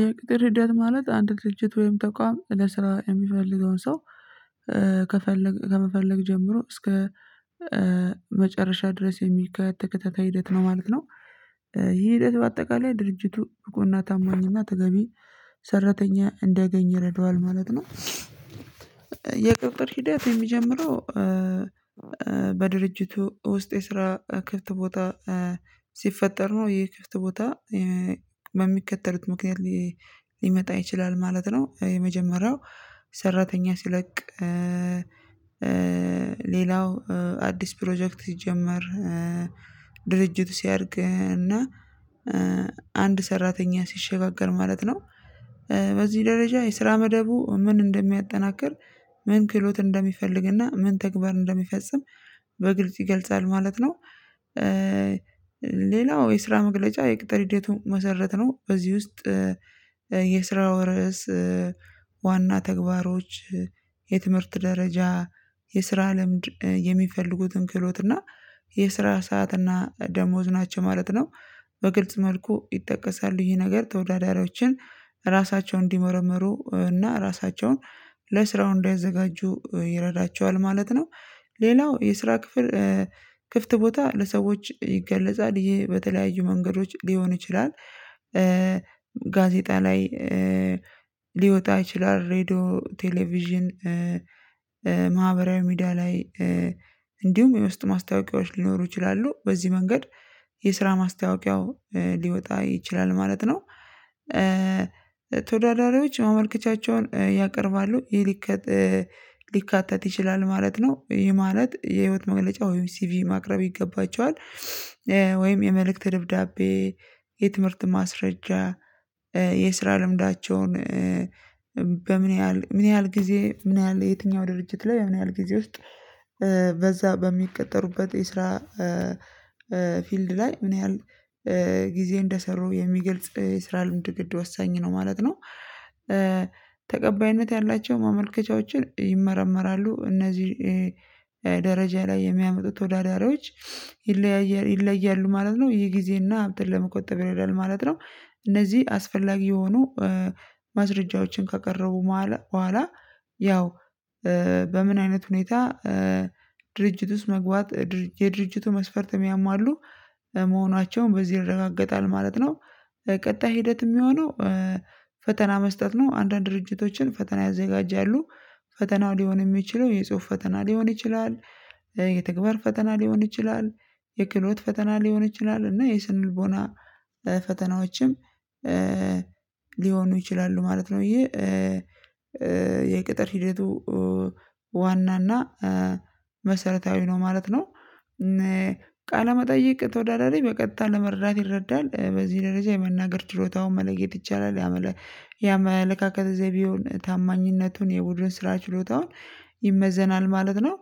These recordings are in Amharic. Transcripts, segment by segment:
የቅጥር ሂደት ማለት አንድ ድርጅት ወይም ተቋም ለስራ የሚፈልገውን ሰው ከፈለግ ከመፈለግ ጀምሮ እስከ መጨረሻ ድረስ የሚካሄድ ተከታታይ ሂደት ነው ማለት ነው። ይህ ሂደት በአጠቃላይ ድርጅቱ ብቁና ታማኝና ተገቢ ሰራተኛ እንዲያገኝ ይረዳዋል ማለት ነው። የቅጥር ሂደት የሚጀምረው በድርጅቱ ውስጥ የስራ ክፍት ቦታ ሲፈጠር ነው ይህ ክፍት ቦታ በሚከተሉት ምክንያት ሊመጣ ይችላል ማለት ነው የመጀመሪያው ሰራተኛ ሲለቅ ሌላው አዲስ ፕሮጀክት ሲጀመር ድርጅቱ ሲያድግ እና አንድ ሰራተኛ ሲሸጋገር ማለት ነው በዚህ ደረጃ የስራ መደቡ ምን እንደሚያጠናክር ምን ክህሎት እንደሚፈልግና ምን ተግባር እንደሚፈጽም በግልጽ ይገልጻል ማለት ነው። ሌላው የስራ መግለጫ የቅጥር ሂደቱ መሰረት ነው በዚህ ውስጥ የስራው ርዕስ ዋና ተግባሮች የትምህርት ደረጃ የስራ ልምድ የሚፈልጉትን ክህሎት እና የስራ ሰዓት እና ደሞዝ ናቸው ማለት ነው። በግልጽ መልኩ ይጠቀሳሉ ይሄ ነገር ተወዳዳሪዎችን ራሳቸውን እንዲመረመሩ እና ራሳቸውን ለስራው እንዳይዘጋጁ ይረዳቸዋል ማለት ነው። ሌላው የስራ ክፍል ክፍት ቦታ ለሰዎች ይገለጻል ይሄ በተለያዩ መንገዶች ሊሆን ይችላል ጋዜጣ ላይ ሊወጣ ይችላል ሬድዮ ቴሌቪዥን ማህበራዊ ሚዲያ ላይ እንዲሁም የውስጥ ማስታወቂያዎች ሊኖሩ ይችላሉ በዚህ መንገድ የስራ ማስታወቂያው ሊወጣ ይችላል ማለት ነው። ተወዳዳሪዎች ማመልከቻቸውን ያቀርባሉ ሊካተት ይችላል ማለት ነው ይህ ማለት የህይወት መግለጫ ወይም ሲቪ ማቅረብ ይገባቸዋል ወይም የመልእክት ደብዳቤ የትምህርት ማስረጃ የስራ ልምዳቸውን በምን ያህል ምን ያህል ጊዜ ምን ያህል የትኛው ድርጅት ላይ ምን ያህል ጊዜ ውስጥ በዛ በሚቀጠሩበት የስራ ፊልድ ላይ ምን ያህል ጊዜ እንደሰሩ የሚገልጽ የስራ ልምድ ግድ ወሳኝ ነው ማለት ነው። ያላቸው ማመልከቻዎችን ይመረመራሉ እነዚህ ደረጃ ላይ የሚያመጡት ተወዳዳሪዎች ይለያያ ይለያሉ ማለት ነው ይሄ ጊዜና ሀብትን ለመቆጠብ ይረዳል ማለት ነው። እነዚህ አስፈላጊ የሆኑ ማስረጃዎችን ካቀረቡ በኋላ ያው በምን አይነት ሁኔታ ድርጅት ውስጥ መግባት የድርጅቱ መስፈርት ያማሉ መሆናቸውን በዚህ ይረጋገጣል ማለት ነው። ቀጣይ ሂደት የሚሆነው ፈተና መስጠት ነው አንዳንድ ድርጅቶችን ፈተና ያዘጋጃሉ ፈተናው ሊሆን የሚችለው የጽሁፍ ፈተና ሊሆን ይችላል የተግባር ፈተና ሊሆን ይችላል የክህሎት ፈተና ሊሆን ይችላል እና የስነልቦና ፈተናዎችም ሊሆኑ ይችላሉ ማለት ነው። ይህ የቅጥር ሂደቱ ዋና እና መሰረታዊ ነው ማለት ነው። ቃለመጠየቅ ተወዳዳሪ በቀጥታ ለመርዳት ይረዳል በዚህ ደረጃ የመናገር ችሎታውን መለየት ይቻላል ያመለካከት ዘይቤውን ታማኝነቱን የቡድን ስራ ችሎታውን ይመዘናል ማለት ነው።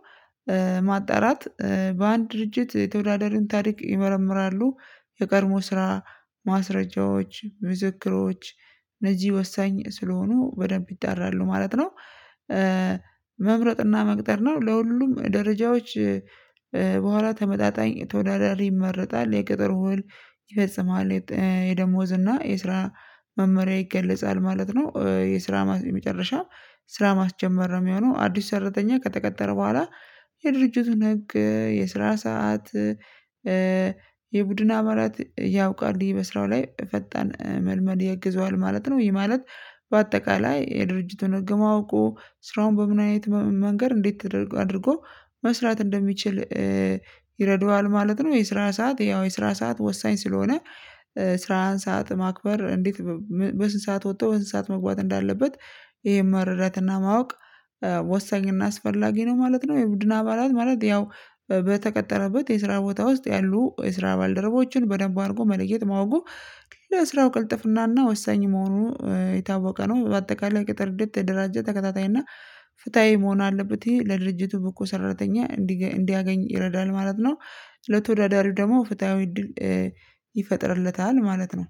ማጣራት በአንድ ድርጅት የተወዳዳሪን ታሪክ ይመረምራሉ የቀድሞ ስራ ማስረጃዎች ምስክሮች እነዚህ ወሳኝ ስለሆኑ በደንብ ይጣራሉ ማለት ነው። መምረጥና መቅጠር ነው ለሁሉም ደረጃዎች በኋላ ተመጣጣኝ ተወዳዳሪ ይመረጣል የቅጥር ውል ይፈጽማል የደሞዝ እና የስራ መመሪያ ይገለጻል ማለት ነው። የስራ መጨረሻ ስራ ማስጀመር ነው የሚሆነው አዲሱ ሰራተኛ ከተቀጠረ በኋላ የድርጅቱን ህግ የስራ ሰዓት የቡድን አባላት ያውቃሉ በስራው ላይ ፈጣን መልመድ ያግዘዋል ማለት ነው ይሄ ማለት በአጠቃላይ የድርጅቱን ህግ ማወቁ ስራውን በምን አይነት መንገድ እንዴት አድርጎ መስራት እንደሚችል ይረዳዋል ማለት ነው። የስራ ሰዓት ያው የስራ ሰዓት ወሳኝ ስለሆነ ስራህን ሰዓት ማክበር እንዴት በስንት ሰዓት ወጥቶ በስንት ሰዓት መግባት እንዳለበት ይሄን መረዳትና ማወቅ ወሳኝና አስፈላጊ ነው ማለት ነው። የቡድን አባላት ማለት ያው የስራ ቦታ ውስጥ ያሉ የስራ ባልደረቦችን በደንብ አድርጎ መለየት ማወቁ ለስራው ቅልጥፍናና ወሳኝ መሆኑ የታወቀ ነው በአጠቃላይ ቅጥር ሂደት የተደራጃ ተከታታይና ፍትሃዊ መሆን አለበት ይሄ ለድርጅቱ ብቁ ሰራተኛ እንዲያገኝ ይረዳል ማለት ነው። ለተወዳዳሪው ደግሞ ፍትሃዊ እድል ይፈጥርለታል ማለት ነው።